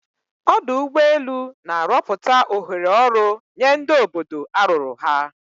Ọdụ ụgbọ elu na-arọpụta ohere ọrụ nye ndi obodo arụrụ ha.